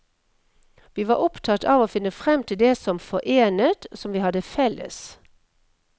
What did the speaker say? Vi var opptatt av å finne frem til det som forenet, som vi hadde felles.